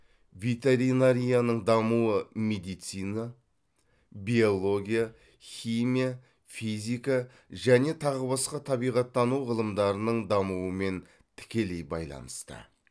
ветеринарияның дамуы медицина биология химия физика және тағы басқа табиғаттану ғылымдарының дамуымен тікілей байланысты